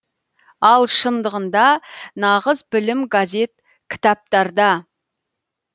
ал шындығында нағыз білім газет кітаптарда